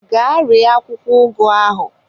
Gaa ree akwụkwọ ugu ahụ!